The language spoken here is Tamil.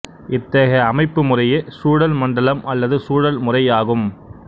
இத்தகைய அமைப்பு முறையே சூழல் மண்டலம் அல்லது சூழல் முறை ஆகும்